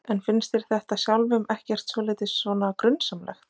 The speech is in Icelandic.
En finnst þér þetta sjálfum ekkert svolítið svona grunsamlegt?